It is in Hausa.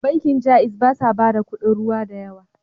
Bankin Jaiz ba sa bada kudin ruwa da yawa.